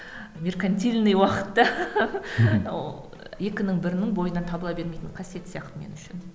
меркантильный уақытта екінің бірінің бойынан табыла бермейтін қасиет сияқты мен үшін